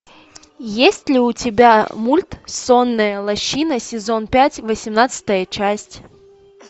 есть ли у тебя мульт сонная лощина сезон пять восемнадцатая часть